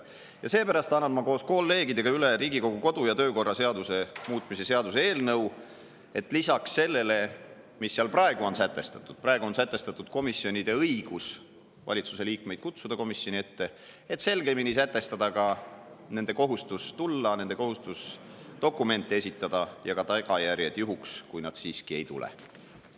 Ja seepärast annan ma koos kolleegidega üle Riigikogu kodu‑ ja töökorra seaduse muutmise seaduse eelnõu, et lisaks sellele, mis seal praegu on sätestatud – praegu on sätestatud komisjonide õigus valitsuse liikmeid kutsuda komisjoni ette –, selgemini sätestada ka nende kohustus tulla, nende kohustus dokumente esitada ja ka tagajärjed juhuks, kui nad siiski ei tule.